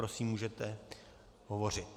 Prosím, můžete hovořit.